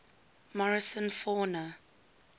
morrison fauna